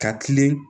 Ka kilen